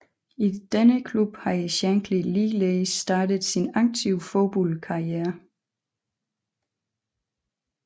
I denne klub havde Shankly ligeledes startet sin aktive fodboldkarriere